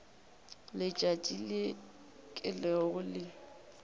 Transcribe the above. letšatši le ke leo le